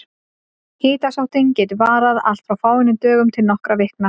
Hitasóttin getur varað allt frá fáeinum dögum til nokkurra vikna.